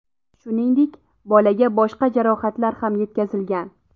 Shuningdek, bolaga boshqa jarohatlar ham yetkazilgan.